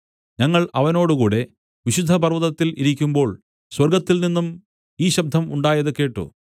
ഞങ്ങൾ അവനോടുകൂടെ വിശുദ്ധപർവ്വതത്തിൽ ഇരിക്കുമ്പോൾ സ്വർഗ്ഗത്തിൽനിന്നും ഈ ശബ്ദം ഉണ്ടായത് കേട്ട്